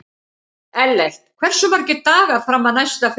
Ellert, hversu margir dagar fram að næsta fríi?